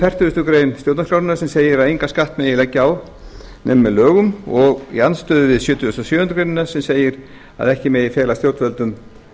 í andstöðu við fertugasti grein stjórnarskrárinnar sem segir að engan skatt megi á leggja nema með lögum og í andstöðu við sjötugasta og sjöundu greinar sem segir að ekki megi fela stjórnvöldum